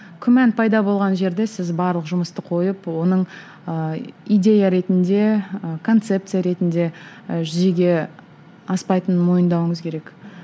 күмән пайда болған жерде сіз барлық жұмысты қойып оның ыыы идея ретінде ы концепция ретінде ы жүзеге аспайтынын мойындауыңыз керек